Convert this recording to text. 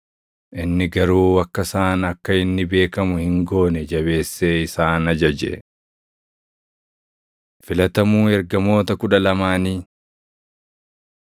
Inni garuu akka isaan akka inni beekamu hin goone jabeessee isaan ajaje. Filatamuu Ergamoota Kudha Lamaanii 3:16‑19 kwf – Mat 10:2‑4; Luq 6:14‑16; Hoj 1:13